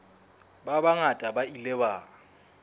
ba bangata ba ile ba